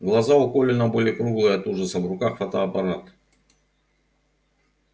глаза у колина были круглые от ужаса в руках фотоаппарат